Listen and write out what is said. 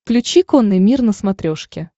включи конный мир на смотрешке